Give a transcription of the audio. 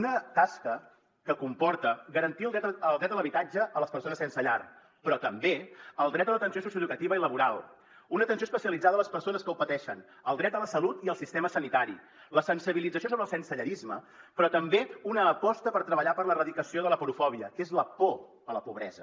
una tasca que comporta garantir el dret a l’habitatge a les persones sense llar però també el dret a l’atenció socioeducativa i laboral una atenció especialitzada a les persones que ho pateixen el dret a la salut i el sistema sanitari la sensibilització sobre el sensellarisme però també una aposta per treballar per l’erradicació de l’aporofòbia que és la por a la pobresa